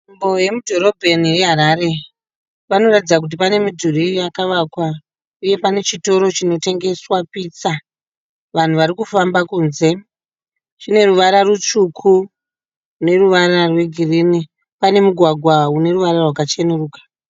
Nzvimbo yemudhorobheni reHarare. Panoratidza kuti pane midhuri yakavakwa uye chitoro chinotengeswa pizza. Vanhu vari kufamba kunze. Chine ruvara rutsvuku neruvara rwegirini. Pane mugwagwa une ruvara rwakachenuruka.